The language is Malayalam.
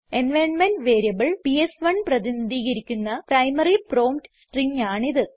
എൻവൈറൻമെന്റ് വേരിയബിൾ പിഎസ്1 പ്രതിനിധീകരിക്കുന്ന പ്രൈമറി പ്രോംപ്റ്റ് സ്ട്രിംഗ് ആണിത്